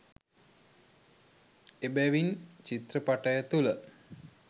එබැවින් චිත්‍රපටය තුළ